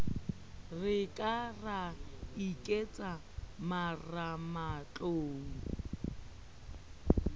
re ka ra iketsa marematlou